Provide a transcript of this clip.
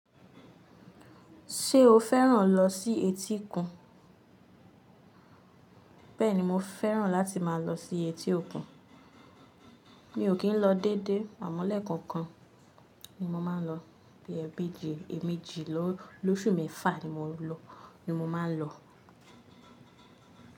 Ṣé o fẹ́ràn lọ sí etí òkun? Bẹ́ẹ̀ni, mo fẹ́ràn láti máa lọ sí etí òkun. Mi ò kí ń lọ dédé àmọ́ lẹ́ẹ̀kankan ni mo máa ń lọ bí i ẹbíje èèmejì lóṣù mẹ́fa ni mo máa ń lọ.